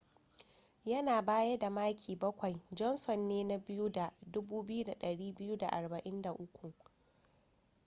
yana baya da maki bakwai johnson ne na biyu da 2,243